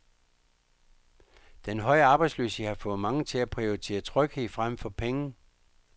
Den høje arbejdsløshed har fået mange til at prioritere tryghed frem for penge.